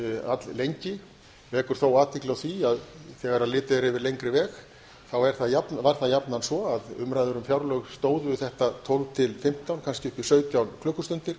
alllengi vekur þó athygli á því að þegar litið er yfir lengri veg þá var það jafnan svo að umræður um fjárlög stóðu þetta tólf til fimmtán kannski upp í sautján klukkustundir